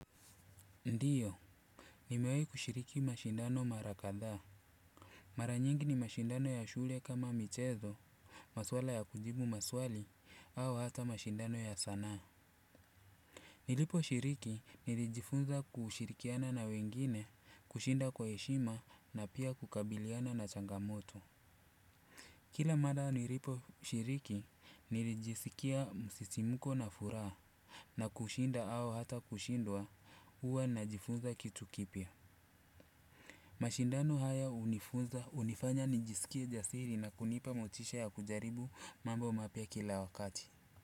Ndiyo, nimewai kushiriki mashindano mara kadhaa. Mara nyingi ni mashindano ya shule kama michezo, maswala ya kujibu maswali au hata mashindano ya sanaa. Niliposhiriki nilijifunza kushirikiana na wengine, kushinda kwa heshima na pia kukabiliana na changamoto. Kila mara niliposhiriki nilijisikia msisimko na furaha. Na kushinda au hata kushindwa huwa najifunza kitu kipya. Mashindano haya unifunza, unifanya nijisikie jasiri na kunipa motisha ya kujaribu mambo mapya kila wakati.